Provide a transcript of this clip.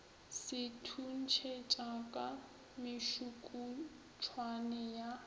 se thuntšhetša ka mešukutšwane ya